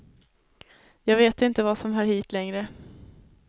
Jag vet inte vad som hör hit, längre.